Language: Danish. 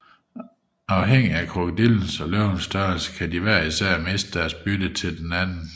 Afhængig af krokodillens og løvens størrelse kan de hver især miste deres bytte til den anden